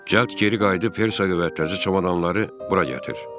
Cəld geri qayıdıb Hersoqa və təzə çamadanları bura gətir.